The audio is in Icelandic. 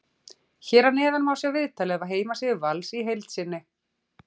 Hér að neðan má sjá viðtalið af heimasíðu Vals í heild sinni.